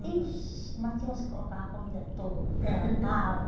ixi, mas tinham uns que colocavam a comida toda até amava.